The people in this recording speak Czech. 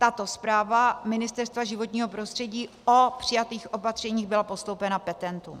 Tato zpráva Ministerstva životního prostředí o přijatých opatřeních byla postoupena petentům.